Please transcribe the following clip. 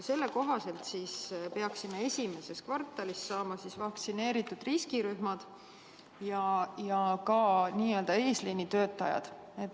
Selle kohaselt peaksime esimeses kvartalis saama vaktsineeritud riskirühmad ja ka n-ö eesliini töötajad.